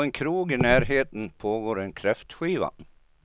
På en krog i närheten pågår en kräftskiva.